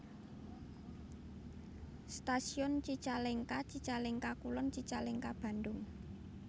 Stasiun Cicalengka Cicalengka Kulon Cicalengka Bandung